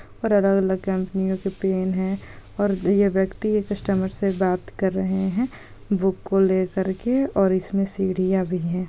और अलग-अलग कंपनियों के पेन है और ये व्यक्ति एक कस्टमर से बात कर रहे है बुक को लेकर के। और इसमें सीढ़िया भी हैं।